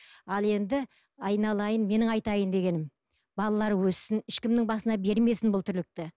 ал енді айналайын менің айтайын дегенім балалар өссін ешкімнің басына бермесін бұл тірлікті